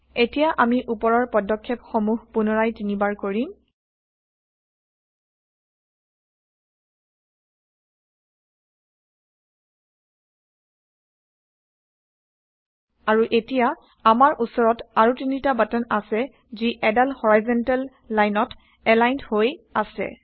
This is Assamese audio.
এতিয়া আমি উপৰৰ পদক্ষেপ সমূহ পুনৰায় তিনিবাৰ কৰিম আৰু এতিয়া আমাৰ উচৰত আৰু তিনিটা বাটন আছে যি এদাল হৰাইযন্টেল লাইনত এলাইনদ হৈ আছে